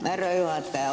Härra juhataja!